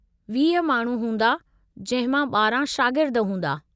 वीह माण्हू हूंदा जंहिं मां ॿारिहां शागिर्द हूंदा।